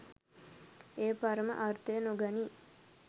එය පරම අර්ථය නොගනී.